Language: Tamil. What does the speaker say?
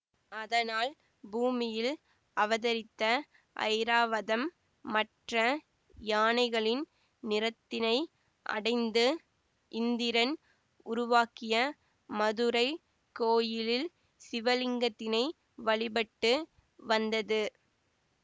அதனால் பூமியில் அவதரித்த ஐராவதம் மற்ற யானைகளின் நிறத்தினை அடைந்து இந்திரன் உருவாக்கிய மதுரை கோயிலில் சிவலிங்கத்தினை வழிபட்டு வந்தது